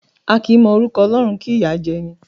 A kì í mọ orúkọ Ọlọ́run kí ìyá jẹ ẹni.